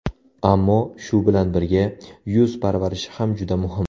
Ammo, shu bilan birga, yuz parvarishi ham juda muhim.